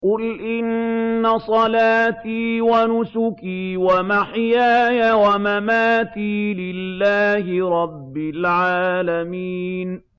قُلْ إِنَّ صَلَاتِي وَنُسُكِي وَمَحْيَايَ وَمَمَاتِي لِلَّهِ رَبِّ الْعَالَمِينَ